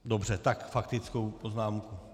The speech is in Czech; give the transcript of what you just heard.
Dobře, tak faktickou poznámku.